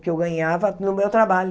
Que eu ganhava no meu trabalho.